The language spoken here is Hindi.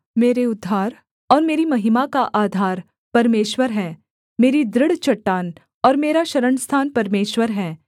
मेरे उद्धार और मेरी महिमा का आधार परमेश्वर है मेरी दृढ़ चट्टान और मेरा शरणस्थान परमेश्वर है